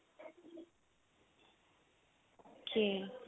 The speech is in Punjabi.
okay